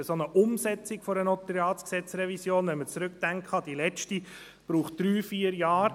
Eine solche Umsetzung einer NG-Revision, wenn wir an die letzte zurückdenken, braucht drei, vier Jahre.